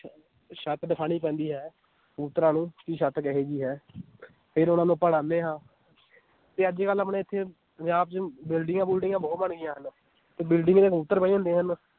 ਛੱਤ ਦਿਖਾਉਣੀ ਪੈਂਦੀ ਹੈ, ਕਬੂਤਰਾਂ ਨੂੰ ਕਿ ਛੱਤ ਕਿਹੋ ਜਿਹੀ ਹੈ ਫਿਰ ਉਹਨਾਂ ਨੂੰ ਆਪਾਂ ਉਡਾਉਂਦੇ ਹਾਂ ਤੇ ਅੱਜ ਕੱਲ੍ਹ ਆਪਣੇ ਇੱਥੇ ਪੰਜਾਬ 'ਚ ਬਿਲਡਿੰਗਾਂ ਬੁਲਡਿੰਗਾਂ ਬਹੁਤ ਬਣ ਗਈਆਂ ਹਨ, ਤੇ building ਤੇ ਕਬੂਤਰ ਬਹਿ ਜਾਂਦੇ ਹਨ